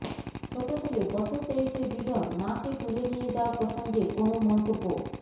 ছোট ছেলে বছর তেইশের বিজন মাকে তুলে নিয়ে যাওয়া প্রসঙ্গে কোনও মন্তব্য